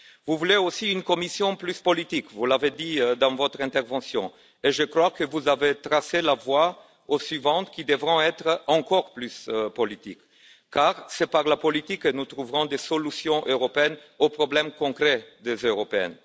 Vous voulez aussi une Commission plus politique, comme vous l'avez dit dans votre intervention. Je crois que vous avez tracé la voie aux suivantes, qui devront être encore plus politiques, car c'est par la politique que nous trouverons des solutions européennes aux problèmes concrets des Européens.